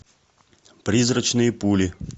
призрачные пули